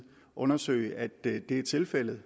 undersøge at det er tilfældet